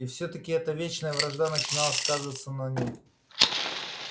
и все таки эта вечная вражда начинала сказываться на нем